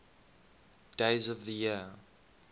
days of the year